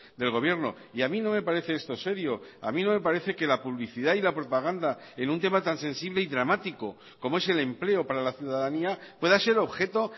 del gobierno y a mí no me parece esto serio a mí no me parece que la publicidad y la propaganda en un tema tan sensible y dramático como es el empleo para la ciudadanía pueda ser objeto